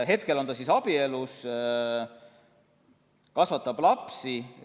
Hetkel on ta abielus ja kasvatab lapsi.